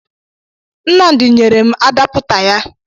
Nnamdị nyere m adapụta ya